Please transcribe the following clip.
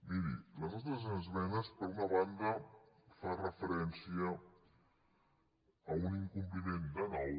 miri les nostres esmenes per una banda fan refe·rència a un incompliment de nou